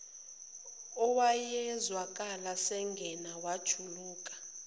owayezwakala sangane wajuluka